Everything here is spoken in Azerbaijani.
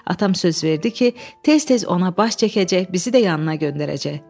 Atam söz verdi ki, tez-tez ona baş çəkəcək, bizi də yanına göndərəcək.